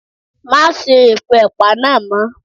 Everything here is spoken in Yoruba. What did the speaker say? Má sá epo ẹ̀pà náà mọ́.